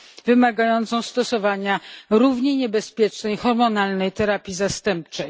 wymagającą stosowania równie niebezpiecznej hormonalnej terapii zastępczej.